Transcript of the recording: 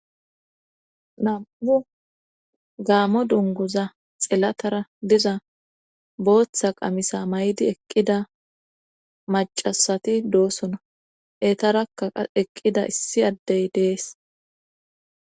nam7u gaamo dunguza xilatara diza bootha qamisa mayidi eqqida maccasati doosona;eetaraka qa eqqida issi adey de7ees.